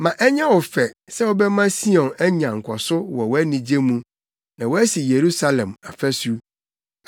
Ma ɛnyɛ wo fɛ sɛ wobɛma Sion anya nkɔso wɔ wʼanigye mu; na woasi Yerusalem afasu.